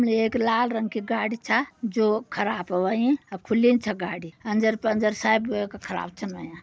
उणे एक लाल रंग कि गाड़ी छा जो खराब ह्वईं। अब खुल्लीन छ गाड़ी अंजर-पंजर सब येका खराब छन हव्यां।